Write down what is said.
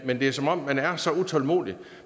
men det er som om man er så utålmodig at